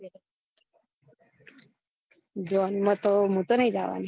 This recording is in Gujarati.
જોન માં તો મુ તો નઈ જવાની